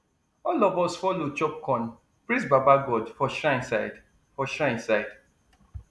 all of us follow chop corn praise baba god for shrine side for shrine side